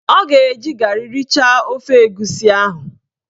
Ọ ga-eji garị richaa ofe egusi ahụ